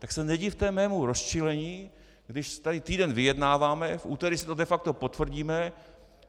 Tak se nedivte mému rozčilení, když tady týden vyjednáváme, v úterý si to de facto potvrdíme.